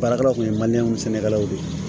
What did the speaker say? Baarakɛlaw kun ye sɛnɛkɛlaw de ye